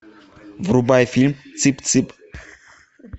врубай фильм цып цып